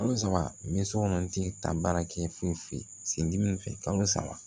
Kalo saba n bɛ sokɔnɔ ten ta baara kɛ foyi foyi sen fɛ kalo saba